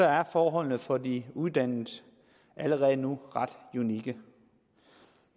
er forholdene for de uddannede allerede nu ret unikke